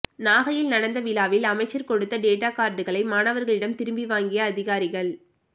நாகையில் நடந்த விழாவில் அமைச்சர் கொடுத்த டேட்டா கார்டுகளை மாணவர்களிடம் திருப்பி வாங்கிய அதிகாரிகள்